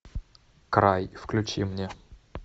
край включи мне